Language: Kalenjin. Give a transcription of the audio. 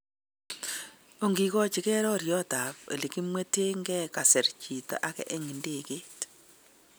Onkikochinge roryot tab elekimwetenke, kasir chito age eng idegeit.